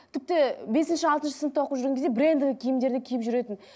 тіпті бесінші алтыншы сыныпта оқып жүрген кезде брендовый киімдерді киіп жүретін